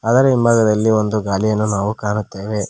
ಅದರ ಹಿಂಭಾಗದಲ್ಲಿ ಒಂದು ಗಾಲಿಯನ್ನು ನಾವು ಕಾಣುತ್ತೇವೆ.